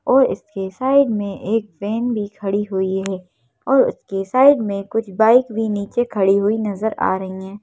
और इसके साइड में एक वैन भी खड़ी हुई है और उसके साइड में कुछ बाइक भी नीचे खड़ी हुई नजर आ रही हैं।